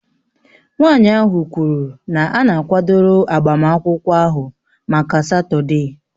Nwanyị ahụ kwuru na a na-akwadoro agbamakwụkwọ ahụ maka Satọde